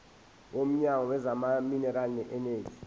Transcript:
womnyango wezamaminerali neeneji